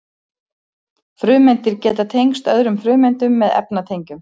frumeindir geta tengst öðrum frumeindum með efnatengjum